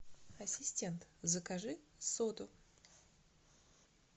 ассистент закажи соду